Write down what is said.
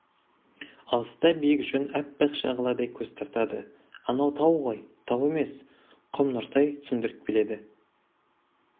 алыста биік жон аппақ шағаладай көз тартады анау тау ғой тау емес құм нұртай түсіндіріп келеді